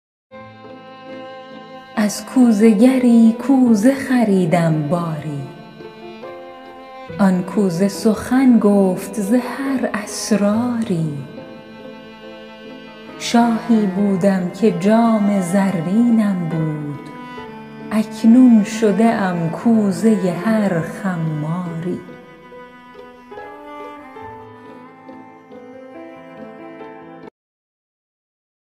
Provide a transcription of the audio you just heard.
از کوزه گری کوزه خریدم باری آن کوزه سخن گفت ز هر اسراری شاهی بودم که جام زرینم بود اکنون شده ام کوزه هر خماری